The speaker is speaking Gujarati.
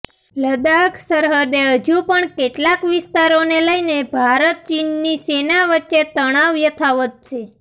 લદ્દાખ સરહદે હજુ પણ કેટલાક વિસ્તારોને લઈને ભારત ચીનની સેના વચ્ચે તણાવ યથાવત છે